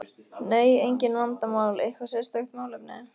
Nei, engin vandamál Eitthvað sérstakt málefni?